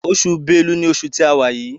Oṣù Bélú ní oṣù tí àwa.